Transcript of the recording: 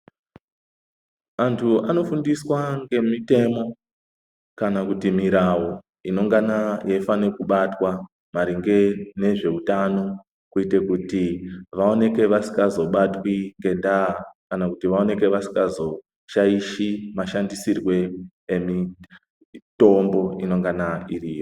Antu anofundiswa ngemitemo kana kuti mirawu inongana yeifane kubatwa maringe nezvehutano, kwete kuti vawoneke vasikazobatwi ngendaya , kana kuti vawoneke vasikazoshaishi mashandisirwe emitombo inongana iriyo.